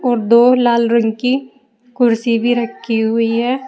और दो लाल रंग की कुर्सी भी रखी हुई है।